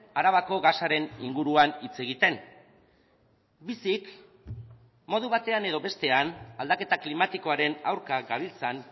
arabako gasaren inguruan hitz egiten bizik modu batean edo bestean aldaketa klimatikoaren aurka gabiltzan